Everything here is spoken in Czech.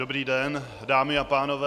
Dobrý den, dámy a pánové.